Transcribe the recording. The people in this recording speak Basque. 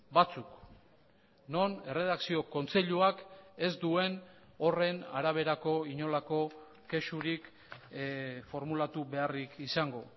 batzuk non erredakzio kontseiluak ez duen horren araberako inolako kexurik formulatu beharrik izango